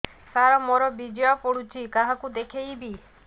ସାର ମୋର ବୀର୍ଯ୍ୟ ପଢ଼ୁଛି କାହାକୁ ଦେଖେଇବି